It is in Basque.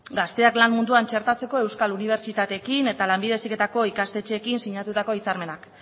gazteak lan munduan txertatzeko euskal unibertsitateekin eta lanbide heziketako ikastetxeekin sinatutako hitzarmenak